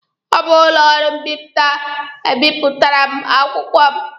Ọ bụ ụlọ ọrụ mbipụta a bipụtara m akwụkwọ m.